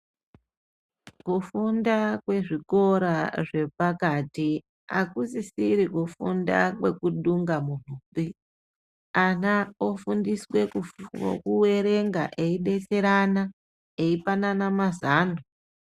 Kufunda kwezvikora zvepakati akusisiri kufunda kwekudunga muntupi. Ana ofundiswa kuerenga eidetserana eyipanana mazano.